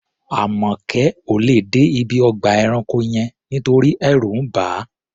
Àmọ̀kẹ́ ò lè dé ibi ọgbà ẹranko yẹn nítorí ẹ̀rù ń bà á.